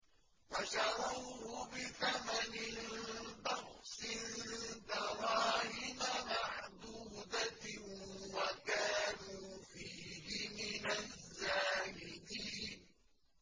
وَشَرَوْهُ بِثَمَنٍ بَخْسٍ دَرَاهِمَ مَعْدُودَةٍ وَكَانُوا فِيهِ مِنَ الزَّاهِدِينَ